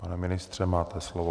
Pane ministře, máte slovo.